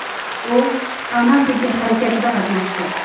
U pan-afrika harakatida qatnashdi.